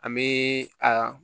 An bɛ a